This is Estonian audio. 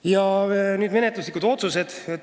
Ja nüüd menetluslikest otsustest.